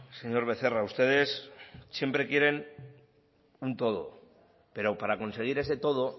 señor becerra ustedes siempre quieren un todo pero para conseguir ese todo